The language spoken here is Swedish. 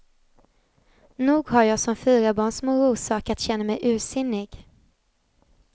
Nog har jag som fyrabarnsmor orsak att känna mig ursinnig.